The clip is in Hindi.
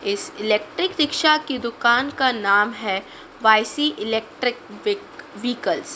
इस इलेक्ट्रिक रिक्शा की दुकान का नाम है इलेक्ट्रिक व्हीक व्हीकल्स ।